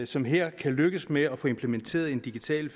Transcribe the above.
som her kan lykkes med at få implementeret en digital